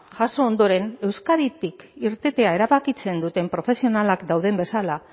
jaso ondoren euskaditik irtetea erabakitzen duten profesionalak dauden bezala